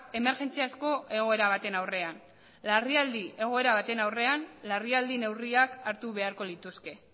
emergentziazko egoera baten aurrean larrialdi egoera baten aurrean larrialdi neurriak hartu beharko lituzke